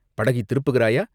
படகைத் திருப்புகிறாயா?